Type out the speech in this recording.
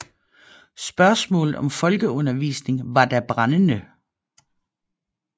Spørgsmålet om folkeundervisningen var da brændende